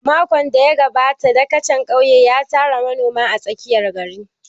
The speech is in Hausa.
Makon da ya gabata dagacin ƙauye ya tara manoma a tsakiyar gari.